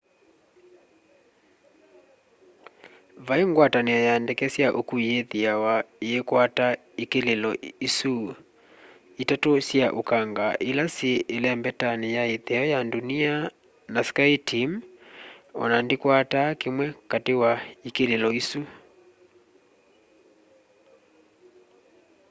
vai ngwatanio ya ndeke sya ukui yithiawa iikwata ikililo isu itatu sya ukanga ila syi ilembetani ya itheo ya ndunia na skyteam ona ndikwataa kimwe kati wa ikililo isu